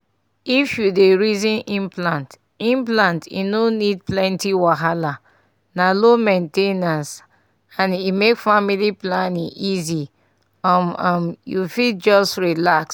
if you dey reason implant implant e no need plenty wahala — na low main ten ance and e make family planning easy um… um… you fit just relax.